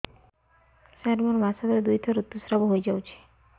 ସାର ମୋର ମାସକରେ ଦୁଇଥର ଋତୁସ୍ରାବ ହୋଇଯାଉଛି